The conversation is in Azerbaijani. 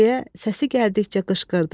Deyə səsi gəldikcə qışqırdı.